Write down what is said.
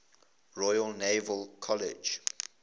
royal naval college